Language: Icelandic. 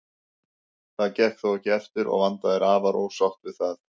Það gekk þó ekki eftir og Vanda er afar ósátt við það.